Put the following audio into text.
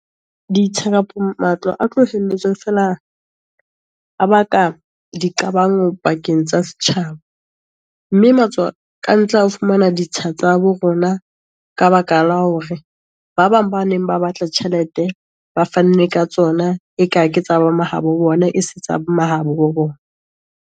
Ditsha kapa matlo a tlo feela, a baka di qabang pakeng tsa setjhaba, mme matswakantle a fumana ditsha tsa bo rona, ka baka la hore ba bang ba neng ba batla tjhelete, ba fanne ka tsona. E ka ke tsa bo mahabo bona, e se tsa mahabo bona.